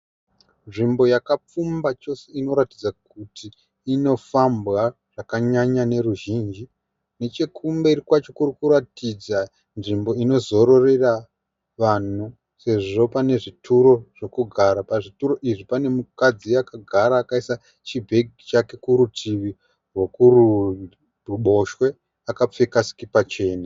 Nzvimbo yakapfumba chose inoratidza kuti inofambwa zvakanyanya noruzhinji. Nechekumberi kwacho kuri kuratidza nzvimbo yekuzororera vanhu sezvo pane zvituro zvokugara. Pazvituro izvi pane mukadzi akagara akaisa chibegi chake kurutivi rwekuruboshwe akapfeka sikipa chena.